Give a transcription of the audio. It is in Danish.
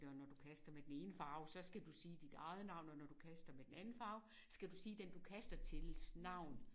Og når du kaster med den ene farve så skal du sige dit eget navn og når du kaster med den anden farve skal du sige den du kaster tils navn